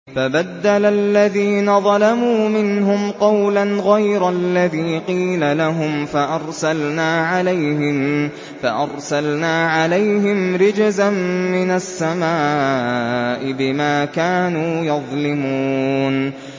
فَبَدَّلَ الَّذِينَ ظَلَمُوا مِنْهُمْ قَوْلًا غَيْرَ الَّذِي قِيلَ لَهُمْ فَأَرْسَلْنَا عَلَيْهِمْ رِجْزًا مِّنَ السَّمَاءِ بِمَا كَانُوا يَظْلِمُونَ